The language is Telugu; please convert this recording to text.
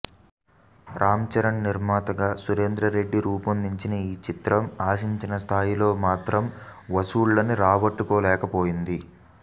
రామ్చరణ్ నిర్మాతగా సురేందర్రెడ్డి రూపొందించిన ఈ చిత్రం ఆశించిన స్థాయిలో మాత్రం వసూళ్లని రాబట్టలేకపోయింది